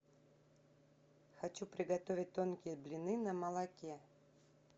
хочу приготовить тонкие блины на молоке